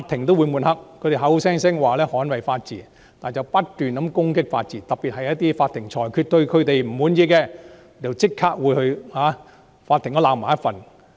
他們口講捍衞法治，卻不斷攻擊法治，特別是對於一些他們不滿意的裁決，就會立即批評法庭。